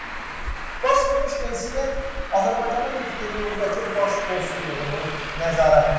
Baş vermiş insident Azərbaycanın Yekaterinburqdakı Baş konsulluğunun nəzarətindədir.